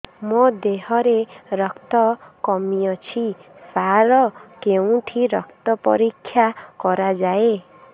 ମୋ ଦିହରେ ରକ୍ତ କମି ଅଛି ସାର କେଉଁଠି ରକ୍ତ ପରୀକ୍ଷା କରାଯାଏ